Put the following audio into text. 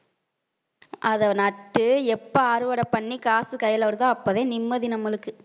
அதை நட்டு எப்ப அறுவடை பண்ணி காசு கையில வருதோ அப்பதான் நிம்மதி நம்மளுக்கு